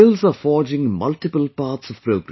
Skills are forging multiple paths of progress